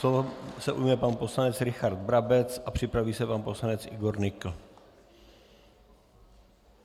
Slova se ujme pan poslanec Richard Brabec a připraví se pan poslanec Igor Nykl.